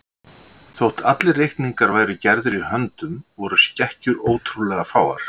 Þótt allir reikningar væru gerðir í höndum voru skekkjur ótrúlega fáar.